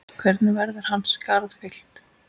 Hvernig verður hans skarð fyllt?